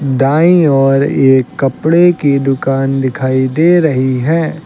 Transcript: दाईं ओर एक कपड़े की दुकान दिखाई दे रही है।